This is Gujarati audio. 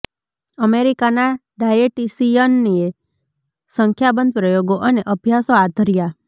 અમેરિકાના ડાયેટિશિયનએ સંખ્યાબંધ પ્રયોગો અને અભ્યાસો હાથ ધર્યા